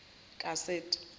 kaseti